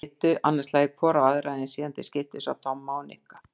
Þær litu annað slagið hvor á aðra en síðan til skiptist á Tomma og Nikka.